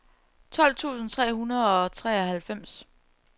tolv tusind tre hundrede og treoghalvfems